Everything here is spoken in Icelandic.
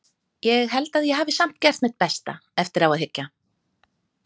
Ég held að ég hafi samt gert mitt besta, eftir á að hyggja.